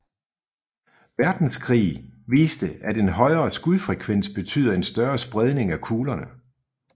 Verdenskrig viste at en højere skudfrekvens betyder en større spredning af kuglerne